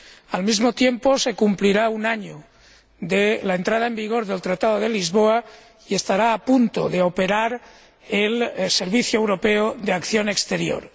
Al mismo tiempo, se cumplirá un año de la entrada en vigor del Tratado de Lisboa y estará a punto de operar el Servicio Europeo de Acción Exterior.